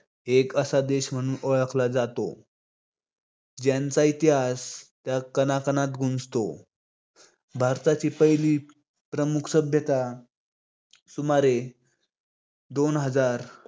एक असा देश म्हणून ओळखला जातो. ज्यांचा इतिहास त्या कणाकणात गुंजतो. भारताची पहिली प्रमुख सभ्यता सुमारे दोन हजार